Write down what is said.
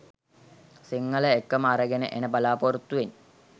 සිංහල එක්කම අරගෙන එන බලාපොරොත්තුවෙන්